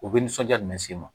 U bɛ nisɔnja jumɛn sen ma